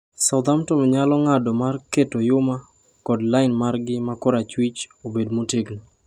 Southampton nyalo ng’ado mar keto Yuma kod line margi ma korachwich obed motegno.